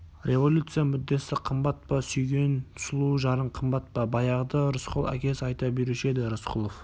революция мүддесі қымбат па сүйген сұлу жарың қымбат па баяғыда рысқұл әкесі айта беруші еді рысқұлов